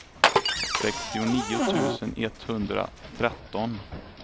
sextionio tusen etthundratretton